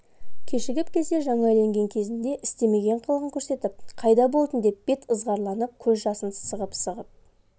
кешігіп келсе жаңа үйленген кезінде істемеген қылығын көрсетіп қайда болдың деп бет ызғарланып көз жасын сығып-сығып